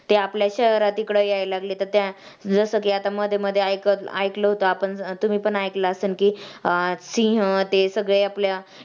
ते आपल्या शहरात इकडं यायला लागले तर जसं कि आता मध्येमध्ये ऐकलं ऐकलं होतं आपण तुम्ही पण ऐकलं असेल की अं सिंह ते सगळे आपल्या